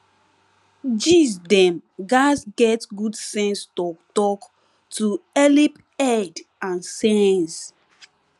gees dem gatz get good sense talktalk to helep head and sense